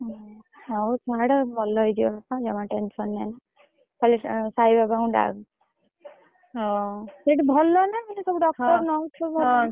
ହଉ ଛାଡ ଭଲ ହେଇଯିବେ ବାପା ଜମା tension ନେନି ଖାଲି ସାଇବାବା ଙ୍କୁ ଡାକ ସେଠି ଭଲ ନା ସବୁ doctor nurse ?